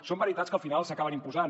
són veritats que al final s’acaben imposant